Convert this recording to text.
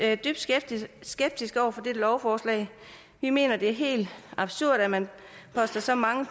er dybt skeptiske skeptiske over for dette lovforslag vi mener det er helt absurd at man poster så mange